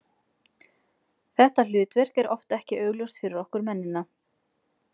Þetta hlutverk er oft ekki augljóst fyrir okkur mennina.